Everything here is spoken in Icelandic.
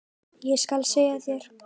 Ég skal segja þér,